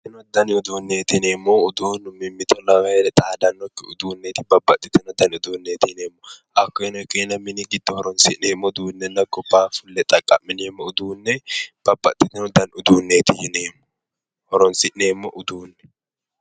Babbaxino danni uduuneti yineemmohu uduunu mimmitto lawanni heere xaadanokki uduuneti babbaxino uduuneti hakkoeno ikkenna abbine mini giddo horonsi'neemmo uduunenna gobbaani fulle xaqa'mineemmo uduune babbaxitino danni uduuneti yineemmo horonsi'neemmo uduuneti.